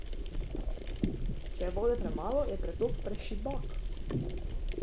Če pa je vode premalo, je pretok prešibak.